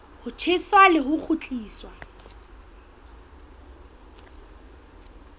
ho tjheswa le ho kgutliswa